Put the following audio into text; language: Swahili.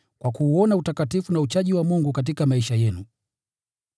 kwa kuuona utakatifu na uchaji wa Mungu katika maisha yenu.